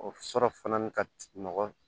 O sɔrɔ fana ka nɔgɔ